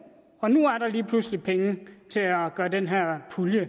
og nu er der lige pludselig penge til at gøre den her pulje